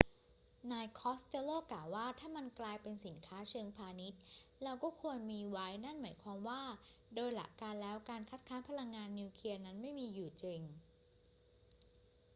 นายคอสเตลโลกล่าวว่า ถ้ามันกลายเป็นสินค้าเชิงพาณิชย์ เราก็ควรมีไว้ นั่นหมายความว่าโดยหลักการแล้วการคัดค้านพลังงานนิวเคลียร์นั้นไม่มีอยู่จริง